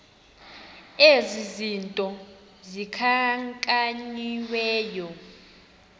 ezi zinto zikhankanyiweyo